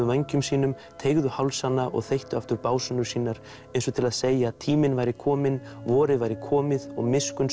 vængjum sínum teygðu hálsana og þeyttu aftur básúnur sínar eins og til að segja að tíminn væri kominn vorið væri komið og